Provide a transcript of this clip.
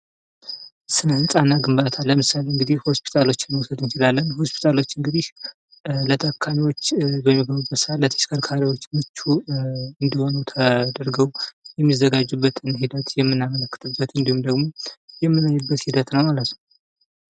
ስነ ህንፃና ግንባታ ለምሳሌ እንግዲህ ሆስፒታሎች መውሰድ እንችላለን ሆስፒታሎች እንግዲህ ለታካሚዎች በሚመጡበት ስዓት ለተሸከርካሪዎች ምቹ እንዲሆኑ ተደርገው የሚዘጋጅበትን ሂደት የምናመለክትበት እንዲሁም ደግሞ የምናይበት ሂደት ነው ማለት ::